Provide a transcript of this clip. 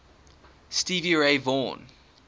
stevie ray vaughan